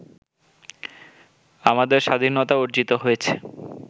আমাদের স্বাধীনতা অর্জিত হয়েছে